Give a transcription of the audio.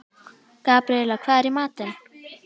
Gabríela, hvað er í matinn?